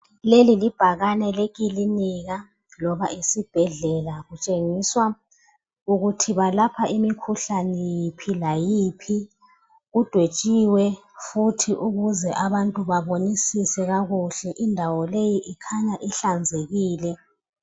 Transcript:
leli libhakane lekilinika loba esibhedlela batshengisa ukuthi balapha imikhuhlane iphi layiphi kudwetshiwe futhi ukuze abantu babonisise kakuhle indawo leyi ikhanya ihlanzekile